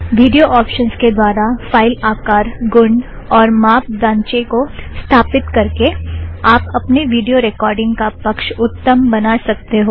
video options के द्वारा file आकर गुण और माप दांचे को स्थापीत करके आप अपने विड़ियो रेकॉर्ड़िंग का पक्ष उत्तम बना सकते हो